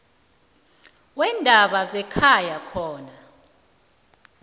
weendaba zekhaya khona